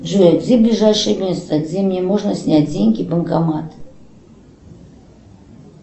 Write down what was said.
джой где ближайшее место где мне можно снять деньги банкомат